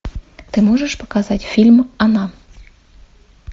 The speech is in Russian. ты можешь показать фильм она